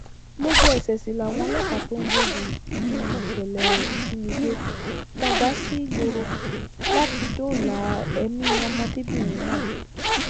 lójú ẹsẹ sì làwọn ọlọpàá tó ń gbógun ti ìṣẹlẹ ìjínigbé fọn dà sígboro láti dóòlà èmi ọmọdébìnrin náà